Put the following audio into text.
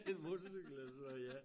En motorcykel eller sådan noget ja